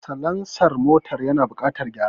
Salansar motar yana buƙatar gyara